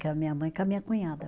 Com a minha mãe e com a minha cunhada.